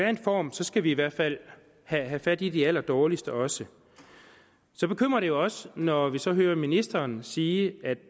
den form skal vi i hvert fald have fat i de allerdårligste også så bekymrer det jo også når vi så hører ministeren sige